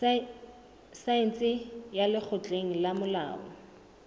saense ya lekgotleng la molao